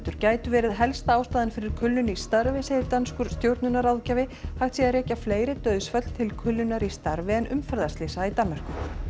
gætu verið helsta ástæðan fyrir kulnun í starfi segir danskur stjórnunarráðgjafi hægt sé að rekja fleiri dauðsföll til kulnunar í starfi en umferðarslysa í Danmörku